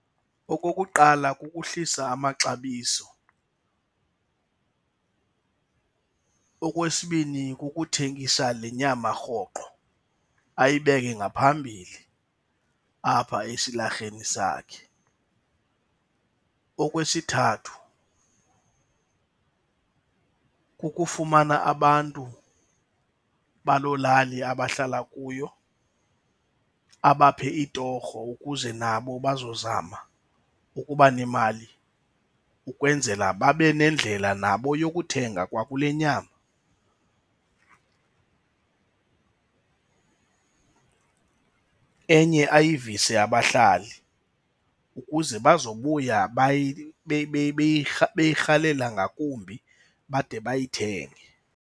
Okokuqala kukuhlisa amaxabiso. Okwesibini kukuthengisa le nyama rhoqo, ayibeke ngaphambili apha esilarheni sakhe. Okwesithathu kukufumana abantu baloo lali abahlala kuyo abaphe itorho ukuze nabo bazozama ukuba nemali ukwenzela babe nendlela nabo yokuthenga kwakule nyama. Enye ayivise abahlali ukuze bazobuya beyirhalela ngakumbi bade bayithenge.